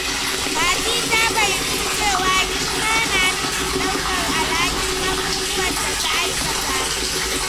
Fati ta fahimci cewa girma na nufin ɗaukar alhakin abubuwan da ta aikata.